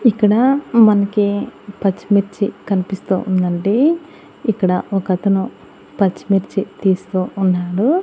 ఇక్కడ మనకి పచ్చిమిర్చి కనిపిస్తూ ఉండండి ఇక్కడ ఒకతను పచ్చిమిర్చి తీస్తూ ఉన్నాడు.